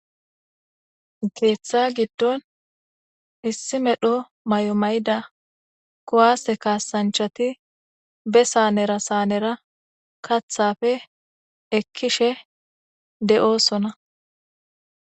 Keeththa giddon issi medho mayo mayda kuwaase kaasanchati be saanera saanera kathappe ekkishe de'osona.